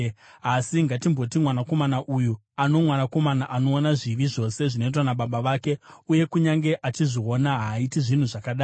“Asi ngatimboti, mwanakomana uyu ane mwanakomana anoona zvivi zvose zvinoitwa nababa vake, uye kunyange achivaona, haaiti zvinhu zvakadai: